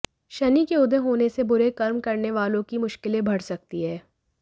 शनि के उदय होने से बुरे कर्म करने वालों की मुश्किलें बढ़ सकती हैं